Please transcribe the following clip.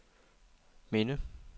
minde